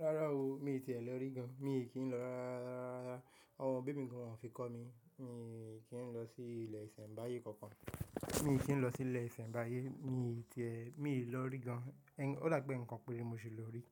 Rárá o, mi tí é lọ rí gan. Mi ò kí ń lọ rárá rárá rárá, àwọn òbi mí gán won fi kọ́ mi. Mi kí ń lọ sí ilé ìsẹ̀mbáyé kankan. Mi kí ń lọ sí ilé ìsẹ̀mbáyé, mi ti ẹ, mi lọ rí gan. Ó dà pé ǹkan pẹ́re mo ṣi lọ rí